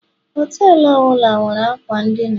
họtelu ọ bụla nwere akwa n'dina